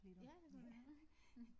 Ja det kunne vi da godt